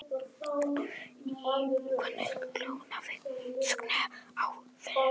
Hávært rokkið hljóðnaði snögglega og þögnin hvolfdist yfir.